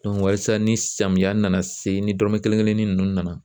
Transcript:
walasa ni samiya nana se ni dɔrɔmɛ kelen kelen ni nunnu nana